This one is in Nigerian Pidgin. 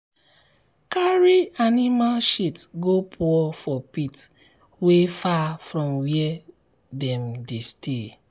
carry animal shit go pour for pit wey far from where dem dey stay.